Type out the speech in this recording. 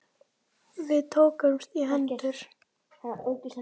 Við tökumst í hendur.